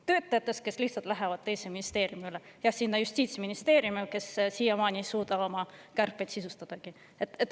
Töötajatest, kes lihtsalt lähevad teise ministeeriumi üle, nimelt Justiitsministeeriumisse, kes siiamaani ei suuda isegi oma kärpeid sisustada.